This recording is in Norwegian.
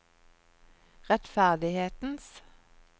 rettferdighetens